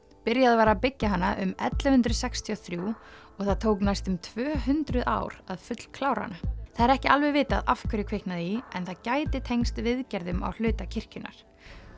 byrjað var að byggja hana um ellefu hundruð sextíu og þrjú og það tók næstum tvö hundruð ár að fullklára hana það er ekki alveg vitað af hverju kviknaði í en það gæti tengst viðgerðum á hluta kirkjunnar